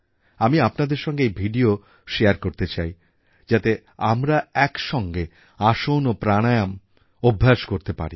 আমি আপনাদের সঙ্গে এই ভিডিও শেয়ার করতে চাই যাতে আমরা একসঙ্গে আসন ও প্রাণায়াম অভ্যাস করতে পারি